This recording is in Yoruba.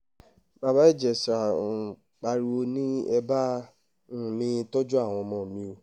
bàbá ìjẹsà um pariwo ni ẹ bá um mi tọ́jú àwọn ọmọ mi o